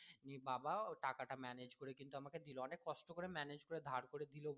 নিয়ে বাবা টাকা টা manage করে কিন্তু আমাকে দিলো অনেক কষ্ট করে manage করে ধার করে দিলো